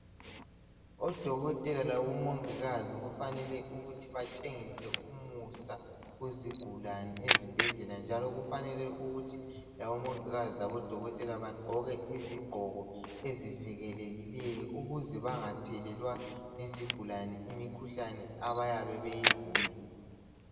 Odokotela labo mongikazi kufanele ukuthi batshengise umusa kuzigulane ezibhedlela njalo kufanele ukuthi labomongikazi labodokotela bagqoke izigqoko ezivikelekileyo ukuze bangathelelwa yizigulane imikhuhlane abayabe beyigula.